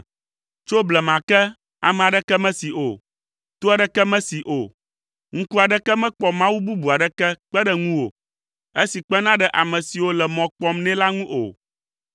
Tso blema ke, ame aɖeke mesee o, to aɖeke mesee o, ŋku aɖeke mekpɔ Mawu bubu aɖeke kpe ɖe ŋuwò, esi kpena ɖe ame siwo le mɔ kpɔm nɛ la ŋu o.